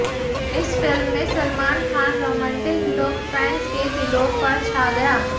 इस फिल्म में Salman Khan romantic look fans के दिलों पर छा गया